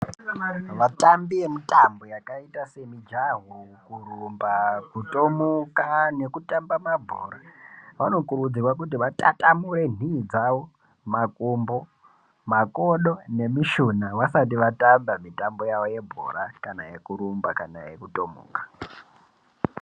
Vatambi vemutambo yakaita semujaho kurumba kutomuka nekutamba mabhora vanokurudzirwa kuti vatatamuri nhii dzavo makumbo makodo nemishuna vasati vatamba mitambo yavo yebhora kana yekurumba kana yekutomuka.